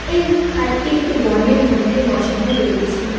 এই ভাট্টি একটি বনের মধ্যে বসানো রয়েছে।